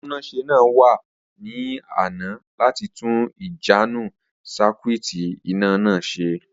Atúnáṣe náà wa ni àná láti tun ìjánu sakuiiti iná náà se